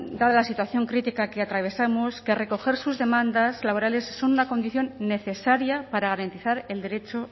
dada la situación crítica que atravesamos que recoger sus demandas laborales sea una condición necesaria para garantizar el derecho